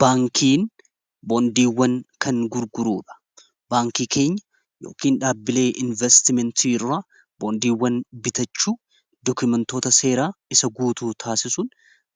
baankiin boondiiwwan kan gurguruudha baankii keenya yookin dhaabbilee investimentii rraa boondiiwwan bitachuu dokumentoota seeraa isa guutuu taasisun